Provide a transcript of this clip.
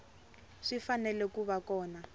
swi fanele ku va kona